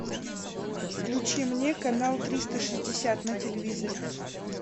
включи мне канал триста шестьдесят на телевизоре